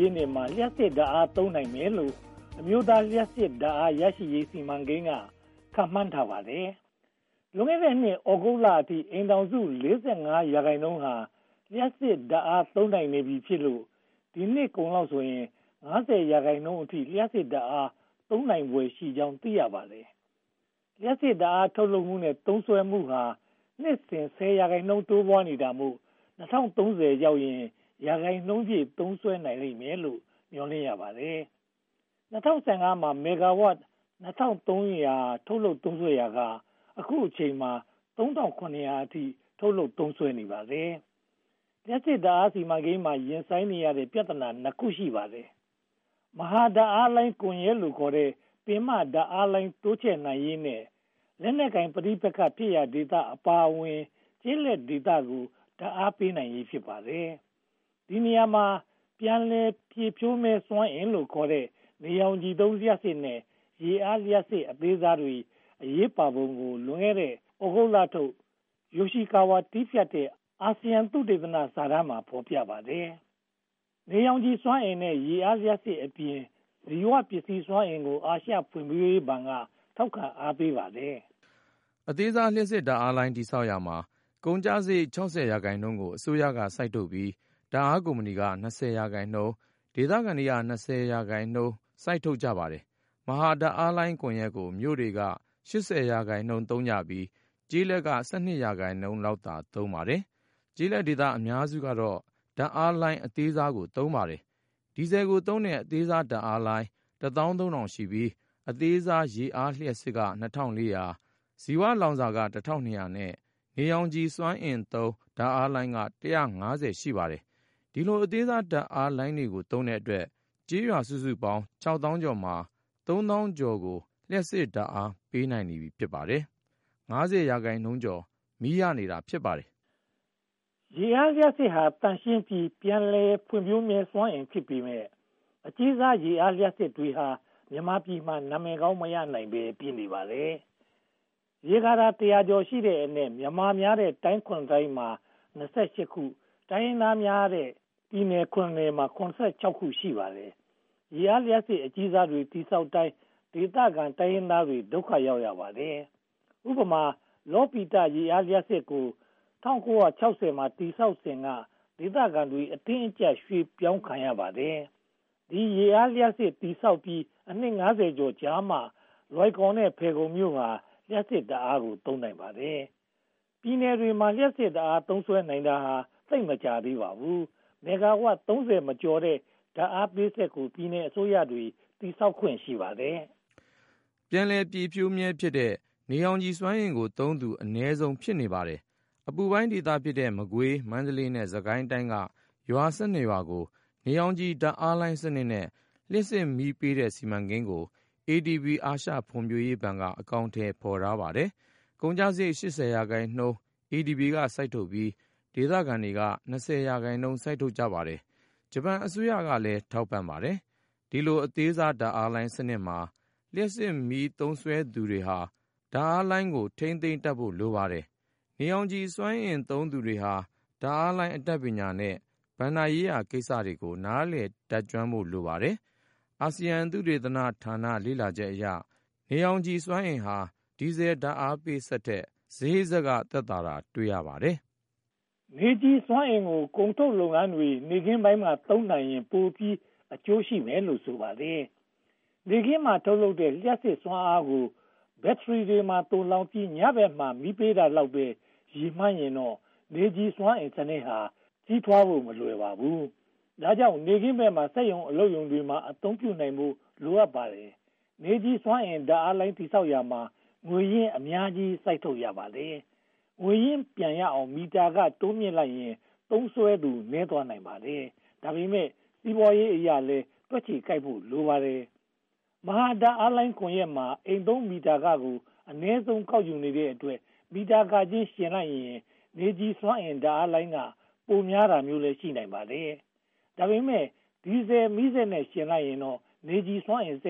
ြည့်နှစ်မှာ လျှပ်စစ်ဓါတ်အားသုံးမယ်လို့ အမျိုးသားလျှပ်စစ်ဓါတ်အား ရရှိရေးစီမံကိန်းက ခန့်မှန်းထားပါတယ်။ လွန်ခဲ့တဲ့နှစ် သြဂုတ်လအထိ အိမ်ထောင်စု (၄၅) ရာခိုင်နှုန်းဟာ လျှပ်စစ်ဓါတ်အား သုံးနိုင်နေပြီဖြစ်လို့ ဒီနှစ်ကုန်လောက်ဆိုရင် (၅၅) ရာခိုင်နှုန်းအထိ လျှပ်စစ်ဓါတ်အား သုံးနိုင်ဖွယ်ရှိကြောင်း သိရပါတယ်။ လျှပ်စစ်ဓါတ်အားထုတ်လုပ်မှုနဲ့ သုံးစွဲမှုဟာ နှစ်စဉ် (၁၀) ရာခိုင်နှုန်း တိုးပွားနေတာမို့ ၂၀၃၀ ရောက်ရင် ရာနှုန်းပြည့် သုံးစွဲနိုင်မယ်လို့ မျှော်လင့်ရပါတယ်။ ၂၀၁၅ မှာ မဂ္ဂါဝပ် (၂၃၀၀) ထုတ်လုပ်သုံးစွဲရာက အခုအချိန်မှာ (၃၇၀၀) အထိ ထုတ်လုပ်သုံးစွဲနေပါတယ်။ လျှပ်စစ်ဓါတ်အားစီမံကိန်းမှာ ရင်ဆိုင်နေရတဲ့ ပြဿနာ (၂) ခု ရှိပါတယ်။ မဟာဓါတ်အားလိုင်း ကွန်ရက်လို့ခေါ်တဲ့ ပင်မဓါတ်အားလိုင်း တိုးချဲနိုင်ရေးနဲ့ လက်နက်ကိုင်ပဋိပက္ခဖြစ်ရာ ဒေသအပါအဝင် ကျေးလက်ဒေသတွေကို ဓါတ်အားပေးနိုင်ရေး ဖြစ်ပါတယ်။ ဒီနေရာမှာ ပြန်လည်ဖြည့်ဖြိုးမြဲစွမ်းအင်လို့ခေါ်တဲ့ နေရောင်ခြည်သုံးလျှပ်စစ်နဲ့ ရေအားလျှပ်စစ်အသေးစားတွေ အရေးပါပုံကို လွန်ခဲ့တဲ့ သြဂုတ်လထုတ် ယိုရှိကာဝါ တည်းဖြတ်တဲ့ အာဆီယံသုတေသနစာတမ်းမှာ ဖော်ပြထားပါတယ်။ နေရောင်ခြည်စွမ်းအင်နဲ့ ရေအားလျှပ်စစ်အပြင် ဇီဝပစ္စည်းစွမ်းအင်ကို အာရှဖွံ့ဖြိုးရေးဘဏ်က ထောက်ခံအားပေးပါတယ်။ အသေးစားလျှပ်စစ်ဓါတ်အားလိုင်း တည်ဆောက်ရာမှာ ကုန်ကျစရိတ် (၆၀) ရာခိုင်နှုန်းကို အစိုးရကစိုက်ထုတ်ပြီး၊ ဓါတ်အားကုမ္ပဏီက (၂၀) ရာခိုင်နှုန်း၊ ဒေသခံတွေက (၂၀) ရာခိုင်နှုန်း ရင်းနှီးကြပါတယ်။ မဟာဓါတ်အားလိုင်းကွန်ရက်ကို မြို့တွေက (၈၀) ရာခိုင်နှုန်းသုံးပြီး ကျေးလက်က (၁၂) ရာခိုင်နှုန်းလောက် သုံးပါတယ်။ ကျေးလက်ဒေသအများစုကတော့ ဓါတ်အားလိုင်းအသေးစားကို သုံးကြပါတယ်။ ဒီဇယ်ကိုသုံးတဲ့ အသေးစားဓါတ်အားလိုင်း (၁၃၀၀၀) ရှိပြီး၊ အသေးစားရေအားလျှပ်စစ်က (၂၄၀၀)၊ ဇီဝလောင်စာက (၁၂၀၀) နဲ့ နေရောင်ခြည်စွမ်းအင်သုံး ဓါတ်အားလိုင်းက (၁၅၀) ရှိပါတယ်။ ဒီလိုအသေးစားဓါတ်အားလိုင်းတွေကို သုံးတဲ့အတွက် ကျေးရွာစုစုပေါင်း (၆) သောင်းကျော် (၆၃၂၇၇) မှာ (၃) သောင်းကျော် (၃၃၈၉၄) ကို လျှပ်စစ်ဓါတ်အား ပေးနိုင်နေပါပြီ။ (၅၀) ရာခိုင်နှုန်းကျော် မီးရနေတာ ဖြစ်ပါတယ်။ ရေအားလျှပ်စစ်ဟာ သန့်ရှင်းပြီး ပြန်လည်ပြည့်ဖြိုးစွမ်းအင်ဖြစ်ပေမယ့် အကြီးစားရေအားလျှပ်စစ်တွေဟာ မြန်မာပြည်မှာ နာမည်ကောင်း မရနိုင်ဘဲ ဖြစ်နေပါတယ်။ ရေကာတာ တစ်ရာကျော်ရှိတဲ့အနက် မြန်မာများတဲ့ တိုင်း (၇) တိုင်းမှာ (၂၈) ခု၊ တိုင်းရင်းသားများတဲ့ ပြည်နယ် (၇) ခုမှာ (၇၆) ခု ရှိနေပါတယ်။ ရေအားလျှပ်စစ်အကြီးစားတွေ တည်ဆောက်တိုင်း ဒေသခံတိုင်းရင်းသားတွေ ဒုက္ခရောက်ပါတယ်။ ဥပမာ လောပီတရေအားလျှပ်စစ်စက်ရုံကို ၁၉၆၀ မှာ တည်ဆောက်စဉ်က ဒေသခံတွေ အတင်းအကျပ် ရွှေ့ပြောင်းခံကြရပါတယ်။ ဒီရေအားလျှပ်စစ် တည်ဆောက်ပြီး အနှစ် (၅၀) ကျော်ကြာမှ လွိုင်ကော်နဲ့ ဖယ်ခုံမြို့ဟာ လျှပ်စစ်ဓါတ်အားကို သုံးနိုင်ပါတယ်။ ပြည်နယ်တွေမှာ လျှပ်စစ်ဓါတ်အားသုံးစွဲနိုင်တာ သိပ်မကြာသေးပါဘူး။ မဂ္ဂါဝပ် (၃၀) မကျော်တဲ့ ဓါတ်အားပေးစက်ကို ပြည်နယ်အစိုးရတွေက တည်ဆောက်ခွင့် ရှိပါတယ်။ ပြန်လည်ပြည့်ဖြိုးမြဲဖြစ်တဲ့ နေရောင်ခြည်စွမ်းအင်ကိုသုံးသူ အနည်းဆုံး ဖြစ်နေပါတယ်။ အပူပိုင်းဒေသဖြစ်တဲ့ မကွေး၊ မန္တလေးနဲ့ စစ်ကိုင်းတိုင်းက ရွာ (၁၂) ရွာကို နေရောင်ခြည်ဓါတ်အားလိုင်းစနစ်နဲ့ လျှပ်စစ်မီးပေးတဲ့ စီမံကိန်းကို ADB (အာရှဖွံ့ဖြိုးရေးဘဏ်) က အကောင်အထည် ဖော်ထားပါတယ်။ ကုန်ကျစရိတ် (၈၀) ရာခိုင်နှုန်း ADB က စိုက်ထုတ်ပြီး ဒေသခံတွေက (၂၀) ရာခိုင်နှုန်း စိုက်ပါတယ်။ ဂျပန်အစိုးရကလည်း ထောက်ပံ့ပါတယ်။ ဒီလိုအသေးစားဓါတ်အားလိုင်းစနစ်မှာ လျှပ်စစ်မီးသုံးစွဲသူတွေဟာ ဓါတ်အားလိုင်းကို ထိန်းသိမ်းတတ်ဖို့ လိုပါတယ်။ နေရောင်ခြည်စွမ်းအင် သုံးစွဲသူတွေဟာ ဓါတ်အားလိုင်းအတတ်ပညာနဲ့ ဘဏ္ဍာရေးရာကိစ္စတွေကို နားလည်တတ်ကျွမ်းဖို့ လိုပါတယ်။ အာဆီယံသုတေသနဌာန လေ့လာချက်အရ နေရောင်ခြည်စွမ်းအင်ဟာ ဒီဇယ်ဓါတ်အားပေးစက်ထက် စရိတ်သက်သာတာ ထင်ရှားပါတယ်။ နေရောင်ခြည်စွမ်းအင်ကို ကုန်ထုတ်လုပ်ငန်းတွေက နေ့ခင်းပိုင်းမှာ သုံးနိုင်ရင် ပိုပြီးအကျိုးရှိမယ်လို့ ဆိုပါတယ်။ နေခင်းပိုင်းမှာ ထုတ်လုပ်တဲ့ လျှပ်စစ်စွမ်းအင်ကို ဘက္ထရီတွေမှာ သိုလှောင်ပြီး ညဘက်ပိုင်းမှာ မီးပေးတာလောက်ပဲ ရည်မှန်းရင်တော့ နေရောင်ခြည်စွမ်းအင်စနစ်ဟာ ကြီးထွားဖို့ မလွယ်ပါဘူး။ ဒါကြောင့် နေ့ခင်းဘက်မှာ စက်ရုံ၊ အလုပ်ရုံတွေမှာ အသုံးပြုနိုင်ဖို့ လိုအပ်ပါတယ်။ နေရောင်ခြည်စွမ်းအင် ဓါတ်အားလိုင်း တည်ဆောက်ရာမှာ ငွေရင်းအများကြီး စိုက်ထုတ်ရပါတယ်။ ငွေရင်းပြန်ရအောင် မီတာခကို တိုးမြင့်လိုက်ရင် သုံးစွဲသူ နည်းသွားနိုင်ပါတယ်။ ဒါပေမဲ့ စီးပွားရေးအရလည်း တွက်ချေကိုက်ဖို့ လိုပါတယ်။ မဟာဓါတ်အားလိုင်းကွန်ရက်မှာ အိမ်သုံးမီတာခကို အနည်းဆုံးကောက်ယူတဲ့အတွက် မီတာခချင်း နှိုင်းယှဉ်လိုက်ရင် နေရောင်ခြည်စွမ်းအင် ဓါတ်အားလိုင်းက ပိုများတာမျိုးလည်း ရှိနိုင်ပါတယ်။ ဒါပေမဲ့ ဒီဇယ်မီးစက်နဲ့ ယှဉ်လိုက်ရင်တော့ နေရောင်ခြည်စွမ်းအင်က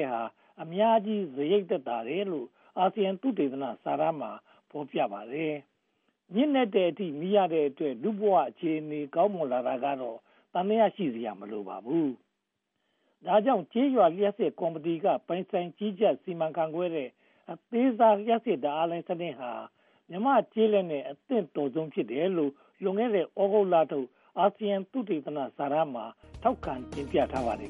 အများကြီးစရိတ်သက်သာတယ်လို့ အာဆီယံသုတေသနစာတမ်းမှာ ဖော်ပြထားပါတယ်။ ညဉ့်နက်တဲ့အထိ မီးရတဲ့အတွက် လူမှုဘဝအခြေအနေ ကောင်းမွန်လာတာကတော့ သံသယရှိစရာ မလိုပါဘူး။ ဒါကြောင့် ကျေးရွာလျှပ်စစ်ကော်မတီက ပိုင်ဆိုင်ကြီးကြပ်စီမံခန့်ခွဲတဲ့ အသေးစား လျှပ်စစ်ဓါတ်အားလိုင်းစနစ်ဟာ မြန်မာ့ကျေးလက်နဲ့ အသင့်တော်ဆုံးဖြစ်တယ်လို့ လွန်ခဲ့တဲ့ သြဂုတ်လထုတ် အာဆီယံသုတေသနစာတမ်းမှာ ထောက်ခံတင်ပြထားပါတယ်